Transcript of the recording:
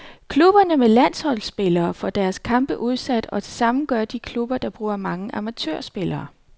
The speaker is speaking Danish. Klubberne med landsholdsspillere får deres kampe udsat, og det samme gør de klubber, der bruger mange amatørspillere.